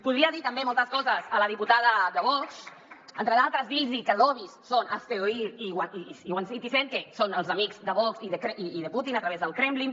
podria dir també moltes coses a la diputada de vox entre d’altres dir los que lobbys són hazte oír i citizen go que són els amics de vox i de putin a través del kremlin